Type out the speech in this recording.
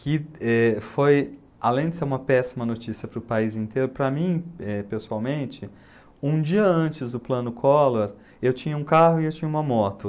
Que, eh, foi, além de ser uma péssima notícia para o país inteiro, para mim, eh, pessoalmente, um dia antes do plano Collor, eu tinha um carro e eu tinha uma moto.